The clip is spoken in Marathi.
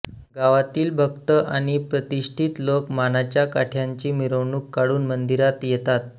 गावातील भक्त आणि प्रतिष्टीत लोक मानाच्या काठ्यांची मिरवणूक काढून मंदिरात येतात